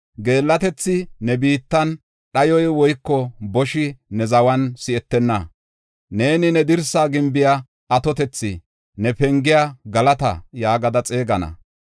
Geellatethi ne biittan, dhayoy woyko boshi ne zawan si7etenna. Neeni ne dirsa gimbiya, ‘Atotethaa’, ne pengiya, ‘Galata’ yaagada xeegana.